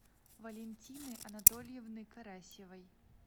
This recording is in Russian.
валентины анатольевны карасевой